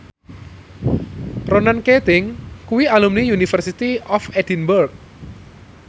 Ronan Keating kuwi alumni University of Edinburgh